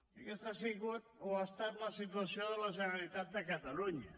i aquesta ha estat la situació de la generalitat de catalunya